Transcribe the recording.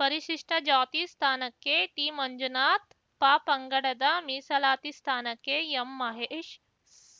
ಪರಿಶಿಷ್ಟಜಾತಿ ಸ್ಥಾನಕ್ಕೆ ಟಿಮಂಜುನಾಥ್‌ ಪಪಂಗಡದ ಮೀಸಲಾತಿ ಸ್ಥಾನಕ್ಕೆ ಎಂಮಹೇಶ್‌